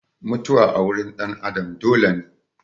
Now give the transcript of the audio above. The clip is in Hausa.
Mutuwa a wurin ɗan Adam dole ne.